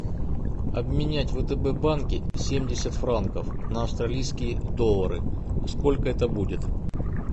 обменять в втб банке семьдесят франков на австралийские доллары сколько это будет